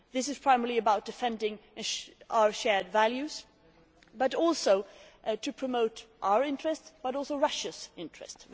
This is primarily about defending our shared values but also about promoting our interests and also Russia's interests.